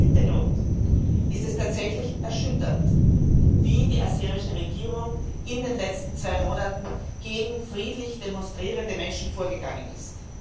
Vor diesem Hintergrund ist es tatsächlich erschütternd, wie die aserische Regierung in den letzten zwei Monaten gegen friedlich demonstrierende Menschen vorgegangen ist.